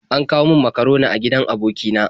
An kawo min makaroni a gidan aboki na.